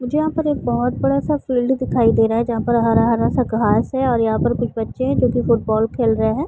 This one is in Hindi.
मुझे यहाँ पर एक बहुत बड़ा सा फील्ड दिखाई दे रहा है जहां पर हरा-हरा सा घास है और यहाँ पर कुछ बच्चे है जो कि फुटबॉल खेल रहे है।